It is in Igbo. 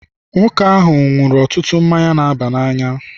Nwoke ahụ ṅụrụ ọtụtụ mmanya na-aba n'anya.